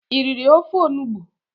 i riri ofe Onugbu?